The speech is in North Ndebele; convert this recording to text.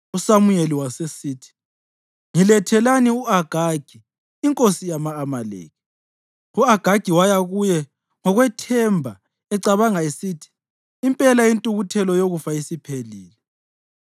USamuyeli wasesithi, “Ngilethelani u-Agagi inkosi yama-Amaleki.” U-Agagi waya kuye ngokwethemba ecabanga esithi, “Impela intukuthelo yokufa isiphelile.”